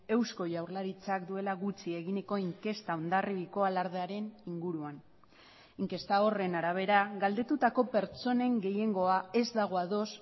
eusko jaurlaritzak duela gutxi eginiko inkesta hondarribiko alardearen inguruan inkesta horren arabera galdetutako pertsonen gehiengoa ez dago ados